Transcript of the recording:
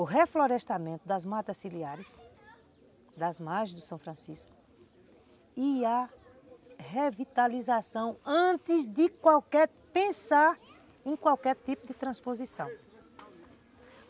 o reflorestamento das matas ciliares das margens do São Francisco e a revitalização antes de qualquer pensar em qualquer tipo de transposição.